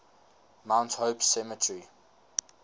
mount hope cemetery